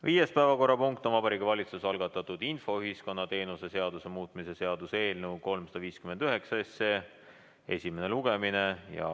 Viies päevakorrapunkt on Vabariigi Valitsuse algatatud infoühiskonna teenuse seaduse muutmise seaduse eelnõu 359 esimene lugemine.